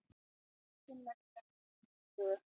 Nefndin leggur ekki fram tillögu